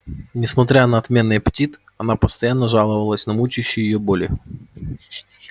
несмотря на отменный аппетит она постоянно жаловалась на мучающие её боли